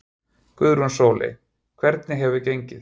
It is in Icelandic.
Guðrún Sóley: Hvernig hefur gengið?